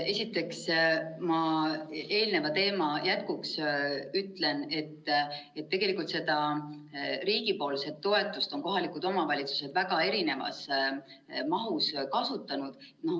Esiteks, ma ütlen eelneva teema jätkuks, et tegelikult seda riigi toetust on kohalikud omavalitsused väga erinevas mahus kasutanud.